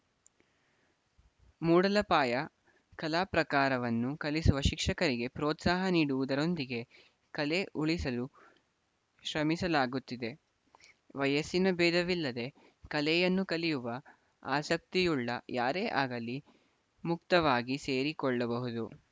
ಮೂಡಲಪಾಯ ಕಲಾ ಪ್ರಕಾರವನ್ನು ಕಲಿಸುವ ಶಿಕ್ಷಕರಿಗೆ ಪ್ರೋತ್ಸಾಹ ನೀಡುವುದರೊಂದಿಗೆ ಕಲೆ ಉಳಿಸಲು ಶ್ರಮಿಸಲಾಗುತ್ತಿದೆ ವಯಸ್ಸಿನ ಭೇದವಿಲ್ಲದೇ ಕಲೆಯನ್ನು ಕಲಿಯುವ ಆಸಕ್ತಿಯುಳ್ಳ ಯಾರೇ ಆಗಲಿ ಮುಕ್ತವಾಗಿ ಸೇರಿಕೊಳ್ಳಬಹುದು